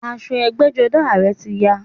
Aṣọ ẹgbẹ́jọdá a rẹ̀ ti ya